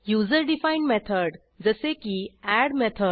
user defined method - जसे की add method